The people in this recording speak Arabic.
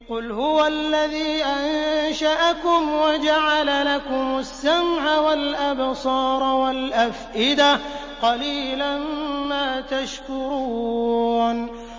قُلْ هُوَ الَّذِي أَنشَأَكُمْ وَجَعَلَ لَكُمُ السَّمْعَ وَالْأَبْصَارَ وَالْأَفْئِدَةَ ۖ قَلِيلًا مَّا تَشْكُرُونَ